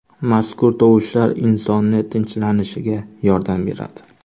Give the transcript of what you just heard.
Mazkur tovushlar insonning tinchlanishiga yordam beradi.